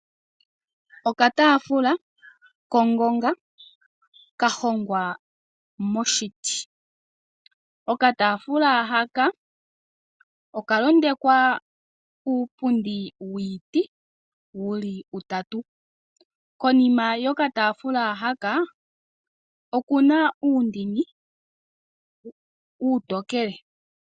Okataafula kongonga kahokwa moshiti. Okataafula haka oka londekwa kuupundi wiitu wuli utatu. Konima yo katafuula haka okuna uundini uutokele.